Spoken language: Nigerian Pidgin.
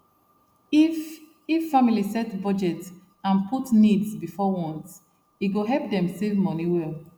if if family set budget and put needs before wants e go help dem save money well